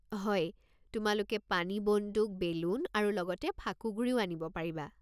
হয়, তোমালোকে পানী বন্দুক, বেলুন আৰু লগতে ফাকুগুড়িও আনিব পাৰিবা।